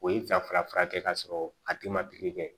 O ye ka fara furakɛ ka sɔrɔ a tigi ma pikiri kɛ